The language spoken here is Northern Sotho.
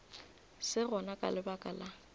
se gona ka lebaka la